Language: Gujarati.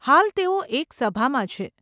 હાલ તેઓ એક સભામાં છે.